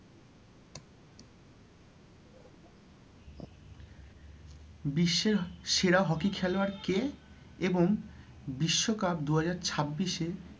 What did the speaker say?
বিশ্বের সেরা hockey খেলোয়াড় কে? এবং বিশ্বকাপ দুহাজার ছাবিশে,